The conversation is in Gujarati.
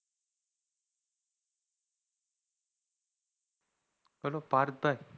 hello પાર્થ ભાઈ